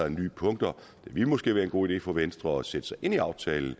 af nye punkter det ville måske være en god idé for venstre at sætte sig ind i aftalen